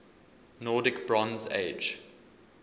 nordic bronze age